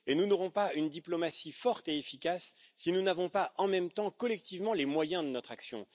Nous n'aurons pas une diplomatie forte et efficace si nous n'avons pas, en même temps et collectivement, les moyens de notre action.